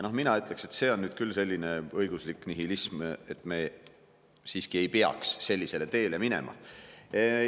Mina ütleksin, et see on nüüd küll õiguslik nihilism ja me siiski ei peaks sellele teele minema.